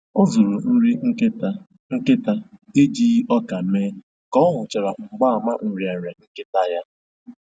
Ọ zụrụ nri nkịta nkịta ejighi ọkà mee ka ọ hụchara mgbaàmà nrịanrịa nkịta ya